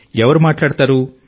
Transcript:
ఎవరు మాట్లాడతారు